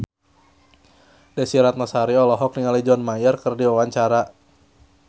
Desy Ratnasari olohok ningali John Mayer keur diwawancara